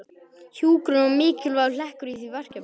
Hjúkrun var mikilvægur hlekkur í því verkefni.